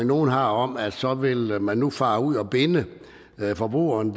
nogle har om at så vil man nu fare ud og binde forbrugeren